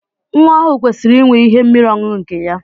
Nwa ọhụụ kwesiri inwe ihe mmiri ọṅụṅụ nke ya.